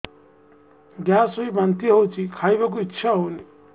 gas ହୋଇ ବାନ୍ତି ହଉଛି ଖାଇବାକୁ ଇଚ୍ଛା ହଉନି